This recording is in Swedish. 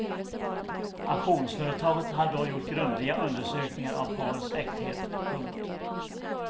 Auktionsföretaget hade då gjort grundliga undersökningar av parets äkthet. punkt